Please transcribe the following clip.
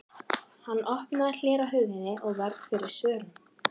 Hann opnaði hlera á hurðinni og varð fyrir svörum.